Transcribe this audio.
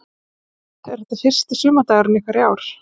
Hrund: Er þetta fyrsti sumardagurinn ykkar í ár?